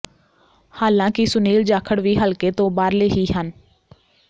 ਹਾਲਾਂਕਿ ਸੁਨੀਲ ਜਾਖੜ ਵੀ ਹਲਕੇ ਤੋਂ ਬਾਹਰਲੇ ਹੀ ਹਨ